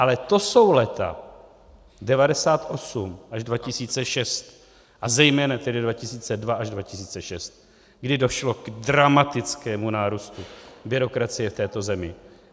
Ale to jsou léta 1998 až 2006 a zejména tedy 2002 až 2006, kdy došlo k dramatickému nárůstu byrokracie v této zemi.